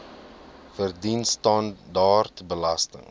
verdien standaard belasting